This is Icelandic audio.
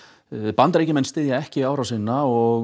Bandaríkjamenn styðja ekki innrásina og